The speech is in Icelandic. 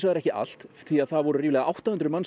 ekki allt því það voru átta hundruð manns